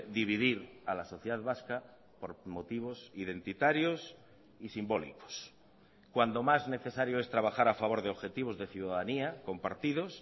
dividir a la sociedad vasca por motivos identitarios y simbólicos cuando más necesario es trabajar a favor de objetivos de ciudadanía compartidos